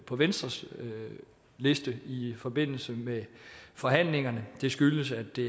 på venstres liste i forbindelse med forhandlingerne det skyldes at det